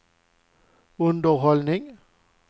underhållning